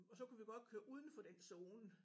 Og så kunne vi godt køre udenfor dem zone